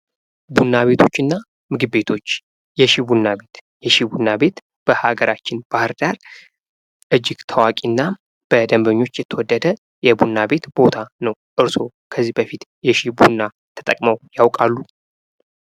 ቡና ቤቶች እና ምግብ ቤቶች የሺ ቡና: ቤት የሺ ቡና ቤት በሀገራችን ባህርዳር እጅግ ታዋቂ እና በደንበኞች የተወደደ የቡና ቤት ቦታ ነው:: እርሶ ከዚህ በፊት የሺ ቡና ተጠቅመው ያውቃሉ?